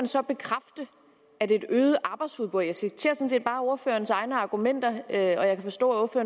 så bekræfte at et øget arbejdsudbud jeg citerer sådan set bare ordførerens egne argumenter og jeg kan forstå at